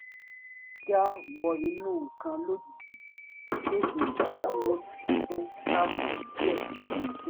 jíjá wọ inú nǹkan lójijì pèsè ìdádúró tó káàbọ̀ díẹ̀ níbi iṣẹ́